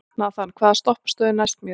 Nathan, hvaða stoppistöð er næst mér?